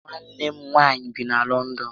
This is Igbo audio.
Nwanne m nwaanyị bi na Lọndọn